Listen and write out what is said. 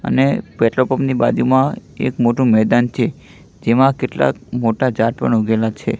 અને petrol pump ની બાજુમાં એક મોટુ મેદાન છે જેમાં કેટલાક મોટા જાળ પણ ઉગેલા છે.